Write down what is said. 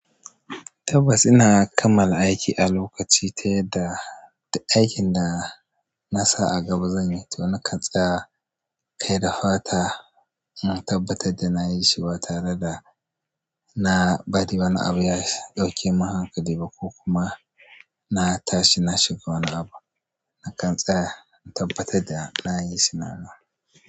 Tabbas ina kammala aiki a lokaci ta yadda aikin na sa a gaba zan. Zan yi, to na kan tsaya kai da fata na tabbatar da na yi shi ba tare da na bari wani abu ya ɗauke mun hankali ba ko kuma na tashi na shiga wani abu. Na kan tsaya na tabbatar da na yi shi nawa.